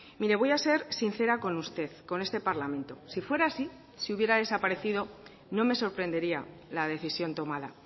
mire voy a ser sincera con usted con este parlamento si fuera así si hubiera desaparecido no me sorprendería la decisión tomada